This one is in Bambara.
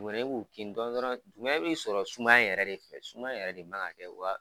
Dugumɛnɛ b'u kin dɔɔnin dɔrɔn dugumɛnɛ bɛ sɔrɔ sumaya yɛrɛ de fɛ samaya in yɛrɛ de man ka kɛ